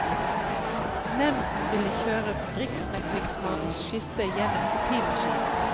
Nevnden vil kjøre riksmeglingsmannens skisse gjennom kopimaskinen.